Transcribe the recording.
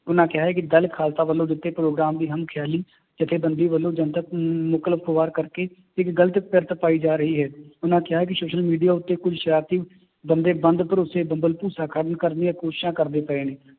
ਉਹਨਾਂ ਕਿਹਾ ਹੈ ਕਿ ਦਲ ਖਾਲਸਾ ਵੱਲੋਂ ਦਿੱਤੇ ਗਏ ਪ੍ਰੋਗਰਾਮ ਦੀ ਹਮ ਖਿਆਲੀ ਜੱਥੇ ਬੰਦੀ ਵੱਲੋਂ ਜਨਤਕ ਕਰਕੇ ਇੱਕ ਗ਼ਲਤ ਕਿਰਤ ਪਾਈ ਜਾ ਰਹੀ ਹੈ, ਉਹਨਾਂ ਕਿਹਾ ਕਿ social media ਉੱਤੇ ਕੋਈ ਸਰਾਰਤੀ ਬੰਦੇ ਬੰਦ ਭਰੋਸ਼ੇ ਭੰਬਲ ਭੂਸਾ ਕਰਨ ਕਰਨ ਦੀਆਂ ਕੋਸ਼ਿਸ਼ਾਂ ਕਰਦੇ ਪਏ ਨੇ,